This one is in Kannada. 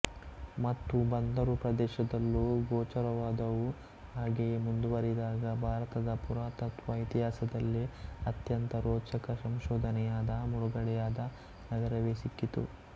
ಮತ್ತು ಬಂದರು ಪ್ರದೇಶದಲ್ಲೂ ಗೋಚರವಾದವು ಹಾಗೆಯೇ ಮುಂದುವರಿದಾಗ ಭಾರತದ ಪುರಾತತ್ವ ಇತಿಹಾಸದಲ್ಲೇ ಅತ್ಯಂತ ರೋಚಕ ಸಂಶೋಧನೆಯಾದ ಮುಳುಗಡೆಯಾದ ನಗರವೇ ಸಿಕ್ಕಿತು